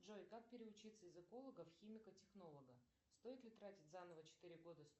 джой как переучится из эколога в химика технолога стоит ли тратить заново четыре года